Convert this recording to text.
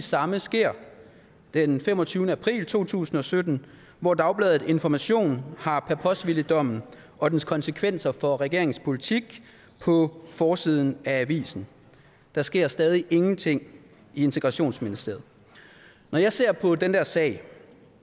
samme sker den femogtyvende april to tusind og sytten hvor dagbladet information har paposhvilidommen og dens konsekvenser for regeringens politik på forsiden af avisen der sker stadig ingenting i integrationsministeriet når jeg ser på den der sag